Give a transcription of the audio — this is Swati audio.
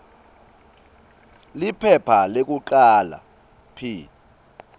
liphepha lekucala p